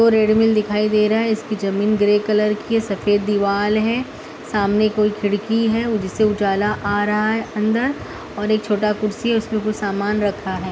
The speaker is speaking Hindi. दिखाई दे रहा है इसकी जमीन ग्रे कलर की सफ़ेद दीवाल है सामने कोई खिड़की है जिससे उजाला आ रहा है अंदर और एक छोटा कुर्सी है उसमे कुछ सामान रखा है।